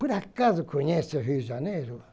Por acaso conhece o Rio de Janeiro?